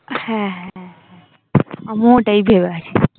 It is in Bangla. হ্যাঁ আমিও ওটাই ভেবেছি